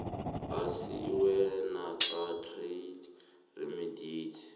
asiwe nakutrade remedies